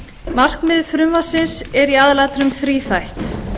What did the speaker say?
markmið frumvarpsins er í aðalatriðum þríþætt